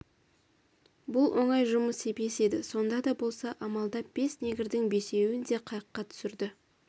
бұл оңай жұмыс емес еді сонда да болса амалдап бес негрдің бесеуін де қайыққа түсірді